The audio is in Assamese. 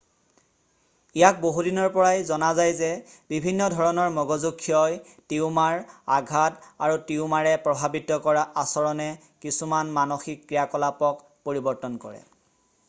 ইয়াক বহুদিনৰ পৰাই জনা যায় যে বিভিন্ন ধৰণৰ মগজু ক্ষয় টিউমাৰ আঘাত আৰু টিউমাৰে প্ৰভাৱিত কৰা আচৰণে কিছুমান মানসিক ক্ৰিয়াকলাপক পৰিবৰ্তন কৰে